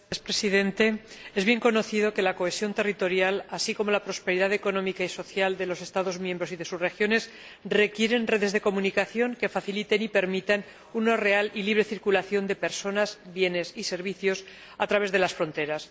Señor Presidente, es bien conocido que la cohesión territorial, así como la prosperidad económica y social de los Estados miembros y de sus regiones, requieren redes de comunicación que faciliten y permitan una real y libre circulación de personas, bienes y servicios a través de las fronteras